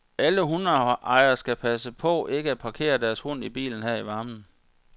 Alle hundeejerne skal passe på ikke at parkere deres hund i bilen her i varmen.